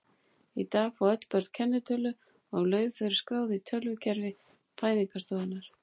Í dag fá öll börn kennitölu um leið og þau eru skráð í tölvukerfi fæðingarstofnunar.